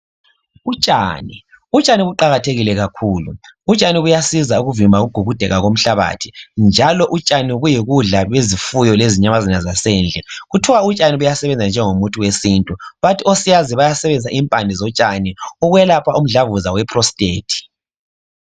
Utshani, utshani buqakathekile kakhulu, utshani buyasiza ukuvimba ukugugudeka komhlabathi njalo utshani buyikudla kwezifuyo lezinyamazana zasendle. Kuthiwa utshani buya sebenza njengomithi wesintu bathi osiyazi bayasebenzisa impande zotshani ukwelapha Umdlavuzo we prostate.